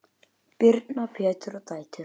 Góður vegur er gulls ígildi.